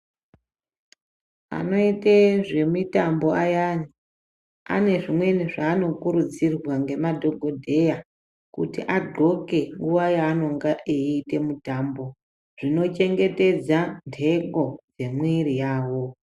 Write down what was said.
Anoite zvemitambo ayani ane zvimweni zvaanokurudzirwa nemadhogodheya kuti adhloke nguva yaanenge eite mitambo zvinochengetedza nhengo dzemuviri yawo.